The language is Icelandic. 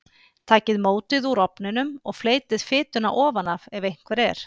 Takið mótið úr ofninum og fleytið fituna ofan af ef einhver er.